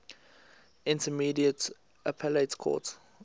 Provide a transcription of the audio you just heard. intermediate appellate court